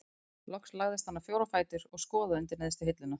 Loks lagðist hann á fjóra fætur og skoðaði undir neðstu hilluna.